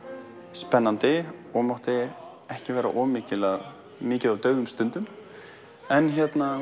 spennandi og mátti ekki vera of mikið mikið af dauðum stundum en